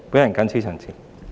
我謹此陳辭。